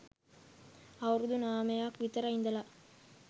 අවුරුදු නමයක් විතර ඉඳල